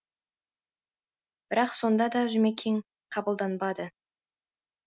бірақ сонда да жұмекен қабылданбады